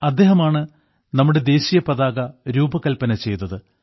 അദ്ദേഹമാണ് നമ്മുടെ ദേശീയപതാക രൂപകൽപ്പന ചെയ്തത്